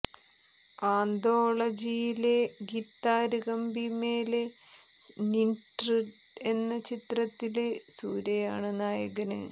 ആന്തോളജിയിലെ guitar Kambi Mele Nindru എന്ന ചിത്രത്തില് സൂര്യയാണ് നായകന്